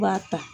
B'a ta